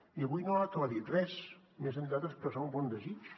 i avui no ha aclarit res més enllà d’expressar un bon desig